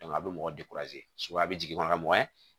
a bɛ mɔgɔ sugu a bɛ jigin dɔrɔn ka mɔgɔ ɲɛ